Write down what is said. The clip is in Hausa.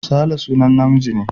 Sale sunan namiji ne.